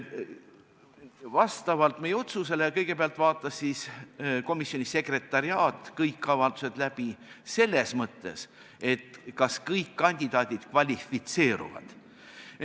Vastavalt meie otsusele vaatas kõigepealt komisjoni sekretariaat kõik avaldused läbi, et kas kõik kandidaadid kvalifitseeruvad.